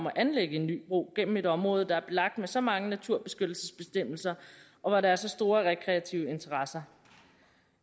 at anlægge en ny bro gennem et område der er belagt med så mange naturbeskyttelsesbestemmelser og hvor der er så store rekreative interesser